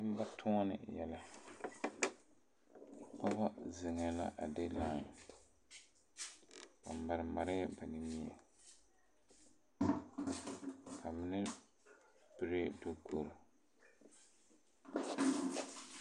Nembatuone yɛlɛ dɔba zeŋee la a de lan ba mare marɛɛ ba nimie ba mine piree dukure